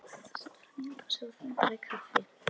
Marta sat hljóð framí eldhúsi og þambaði kaffi.